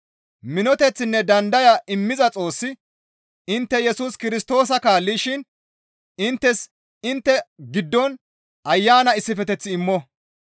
Minoteththinne dandaya immiza Xoossi intte Yesus Kirstoosa kaallishin inttes intte giddon Ayana issifeteth immo.